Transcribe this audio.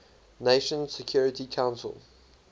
nations security council